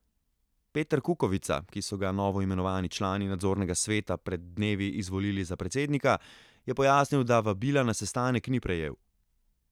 Peter Kukovica, ki so ga novoimenovani člani nadzornega sveta pred dnevi izvolili za predsednika, je pojasnil, da vabila na sestanek ni prejel.